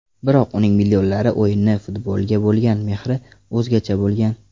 Biroq uning millionlar o‘yini futbolga bo‘lgan mehri o‘zgacha bo‘lgan.